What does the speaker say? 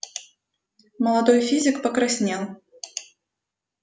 молодой физик покраснел